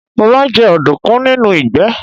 Mo máa ń jẹ ọ̀dùnkún nínú ìgbẹ́.